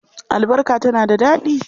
Albarka tana da daɗi.